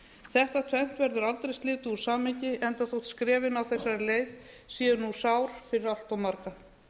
þetta tvennt verður aldrei slitið úr samhengi enda þótt skrefin á þessari leið séu nú sár fyrir allt marga